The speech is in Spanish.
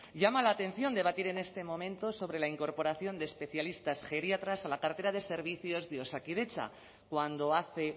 llama la atención debatir en este momento sobre la incorporación de especialistas geriatras a la cartera de servicios de osakidetza cuando hace